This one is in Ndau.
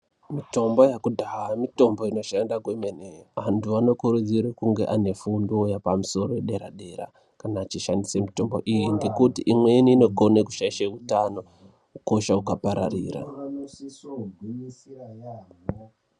Mitombo yekudhaya mitombo inoshanda kwemene antu anokurudzirwa kunge ane fundo yepamusoro yedera-dera kana achishandisa mitombo iyi ngekuti imweni inogona kushaisha hutano hukosha ukapararira.